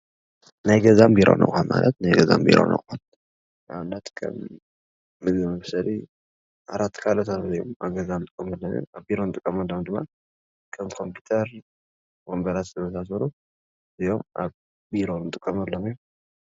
ናይ ገዛን ቢሮን ኣቁሑት ማለት ናይ ገዛን ቢሮን ኣቁሑት ንኣብነት ከም ምግቢ መብሰሊ ፣ዓራት ካልኦታትን ኣብ ገዛ እንጥቀመሎም እዮም ኣብ ቢሮ እንጥቀመሎም ድማ ከም ኮምፒተር፣ ወንበራት ዝመሳሰሉ ኣብ ቢሮ ንጠመሎም እዮም።